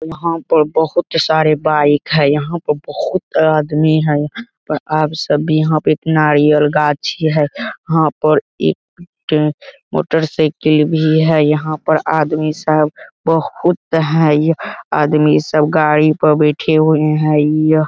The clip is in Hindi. यहाँ पर बहुत सारे बाईक है। यहाँ पर बहुत आदमी है पर आप सब भी यहाँ पे एक नारियल गाछी है। यहाँ पर एक पेड़ मोटरसाइकिल भी है। यहाँ पर आदमी सब बहुत हैं। यह आदमी सब गाड़ी पर बैठे हुए हैं। यह --